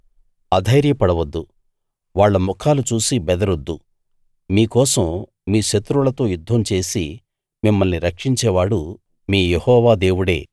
అధైర్యపడవద్దు వాళ్ళ ముఖాలు చూసి బెదరొద్దు మీ కోసం మీ శత్రువులతో యుద్ధం చేసి మిమ్మల్ని రక్షించేవాడు మీ యెహోవా దేవుడే